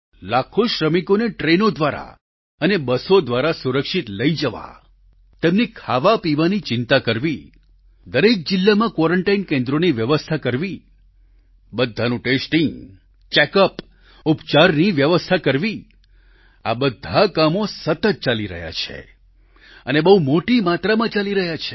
લાખો શ્રમિકોને ટ્રેનો દ્વારા અને બસો દ્વારા સુરક્ષિત લઈ જવા તેમની ખાવાપીવાની ચિંતા કરવી દરેક જિલ્લામાં ક્વોરન્ટાઇન કેન્દ્રોની વ્યવસ્થા કરવી બધાનું ટેસ્ટિંગ ચેકઅપ ઉપચારની વ્યવસ્થા કરવી આ બધા કામો સતત ચાલી રહ્યા છે અને બહુ મોટી માત્રામાં ચાલી રહ્યા છે